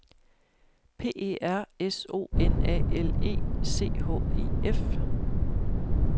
P E R S O N A L E C H E F